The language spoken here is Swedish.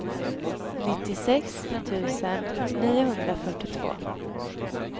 nittiosex tusen niohundrafyrtiotvå